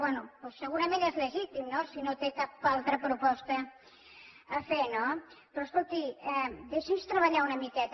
bé segurament és legítim si no té cap altra proposta a fer no però escolti deixi’ns treballar una miqueta